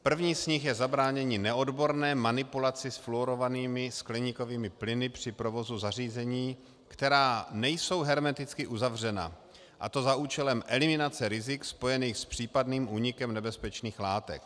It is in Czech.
První z nich je zabránění neodborné manipulaci s fluorovanými skleníkovými plyny při provozu zařízení, která nejsou hermeticky uzavřena, a to za účelem eliminace rizik spojených s případným únikem nebezpečných látek.